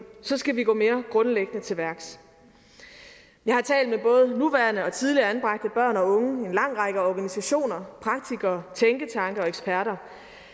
skal vi gå mere grundlæggende til værks jeg har talt med både nuværende og tidligere anbragte børn og unge en lang række organisationer praktikere tænketanke og eksperter